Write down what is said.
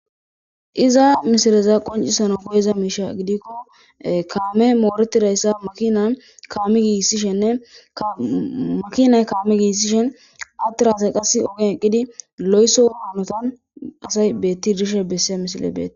Iza misileza qoncisana koyeza miisha gidikko kaame mooretidayssa makina kaami giissishenne makinay kaame giissishen attirasay qassi ogen eqqidi lo'eso haanotan asay beetti dishe besse misile beee.